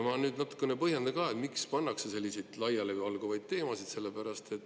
Ma natuke põhjendan, miks pannakse selliseid laialivalguvaid teemasid.